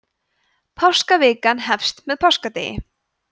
páskavikan hefst með páskadegi